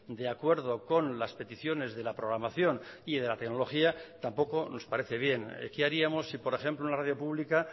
de acuerdo con las peticiones de la programación y de la tecnología tampoco nos parece bien qué haríamos si por ejemplo en la radio pública